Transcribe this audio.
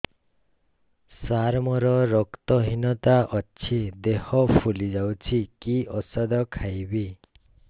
ସାର ମୋର ରକ୍ତ ହିନତା ଅଛି ଦେହ ଫୁଲି ଯାଉଛି କି ଓଷଦ ଖାଇବି